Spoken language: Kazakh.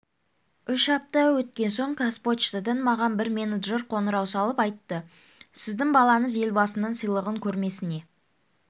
үш апта өткен соң қазпочтадан маған бір менеджер қоңырау шалып айтты сіздің балаңыз елбасының сыйлығын көрмесіне